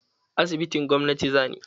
Asibitin gwamnati za ni.